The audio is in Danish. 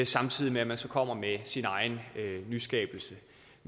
samtidig med at man så kommer med sin egen nyskabelse